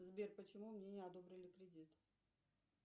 сбер почему мне не одобрили кредит